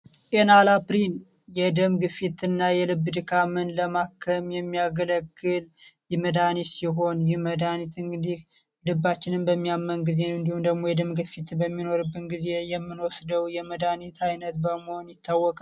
አላፕሪን የደም ግፊት ና የልብ ድካምን ለማክረም የሚያገለክል ይመዳኒት ሲሆን ይመዳኒትን ግዲህ ልባችንም በሚያመን ጊዜ እንዲሁን ደግሞ የደም ግፊትን በሚኖርብን ጊዜ የምኖወስደው የመዳኒት ዓይነት በመሆን ይታወቃል፡፡